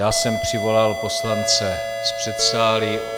Já jsem přivolal poslance z předsálí.